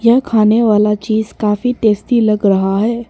यह खाने वाला चीज काफी टेस्टी लग रहा है।